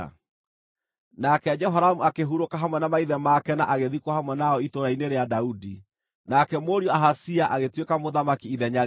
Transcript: Nake Jehoramu akĩhurũka hamwe na maithe make na agĩthikwo hamwe nao itũũra-inĩ rĩa Daudi. Nake mũriũ Ahazia agĩtuĩka mũthamaki ithenya rĩake.